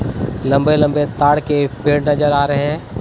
लंबे लंबे ताड़ के पेड़ नजर आ रहे हैं।